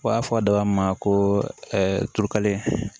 U b'a fɔ a daba ma ko turukalen